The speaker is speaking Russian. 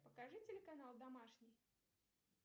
покажи телеканал домашний